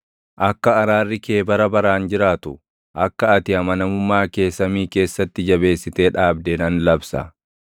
Akka araarri kee bara baraan jiraatu, akka ati amanamummaa kee samii keessatti jabeessitee dhaabde nan labsa.